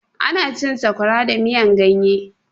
Ana cin sakwara da miyan ganye